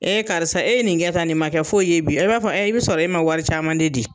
Ee karisa e ye nin kɛ tan, nin ma kɛ foyi ye bi . E b'a fɔ ɛɛ i bi sɔrɔ e ma wari caman de di.